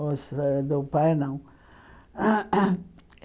Os ãh do pai, não.